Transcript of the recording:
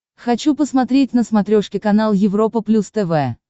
хочу посмотреть на смотрешке канал европа плюс тв